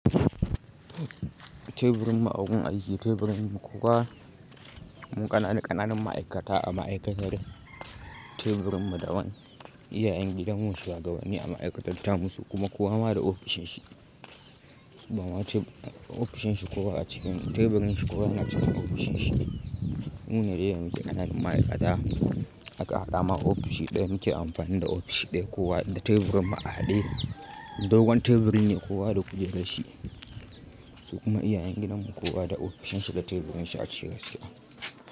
Teburin mu a gun aiki, teburin mu ƙananan ma'aikata a ma'aikatar teburin mu daban iyayen gidanmu shuwagabanni a ma'aikatarta tamu su kuma kowa ma da ofishin shi. Sabon wata ofishin shi kowa a cikin teburin shi kowa na cikin ofishin shi. Mune dai yanzu ƙananan ma'aikata haka haɗa ma ofishi ɗaya muke amfani da ofishi ɗaya kowa da teburin mu q haɗe. Dogon teburin ne kowa da kujerar shi. Su kuma iyayen gidanmu kowa da ofishin shi da teburin shi a ciki gaskiya.